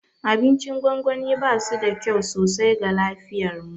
Abincin gwangwani basu da kyau sosai ga lafiyarmu.